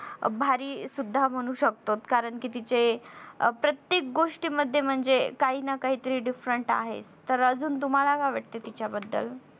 भारी सुद्धा म्हणू शकतो कारण कि तिचे प्रत्येक गोष्टींमध्ये म्हणजे काही ना काही तर different आहेच. तर अजून तुम्हला काय वाटत तिच्याबद्दल